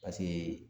Paseke